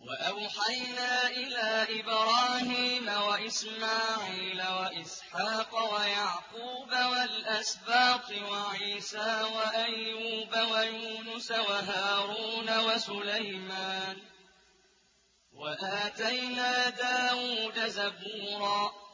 وَأَوْحَيْنَا إِلَىٰ إِبْرَاهِيمَ وَإِسْمَاعِيلَ وَإِسْحَاقَ وَيَعْقُوبَ وَالْأَسْبَاطِ وَعِيسَىٰ وَأَيُّوبَ وَيُونُسَ وَهَارُونَ وَسُلَيْمَانَ ۚ وَآتَيْنَا دَاوُودَ زَبُورًا